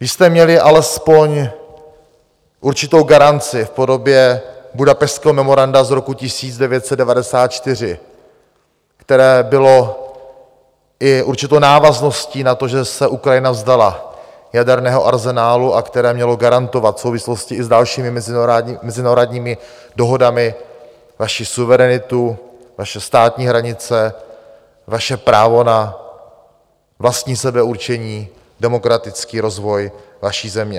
Vy jste měli alespoň určitou garanci v podobě Budapešťského memoranda z roku 1994, které bylo i určitou návazností na to, že se Ukrajina vzdala jaderného arzenálu, a které mělo garantovat v souvislosti i s dalšími mezinárodními dohodami vaši suverenitu, vaše státní hranice, vaše právo na vlastní sebeurčení, demokratický rozvoj vaší země.